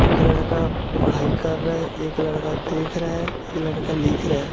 एक लड़का पढ़ाई कर रहा एक लड़का देख रहा एक लड़का लिख रहा--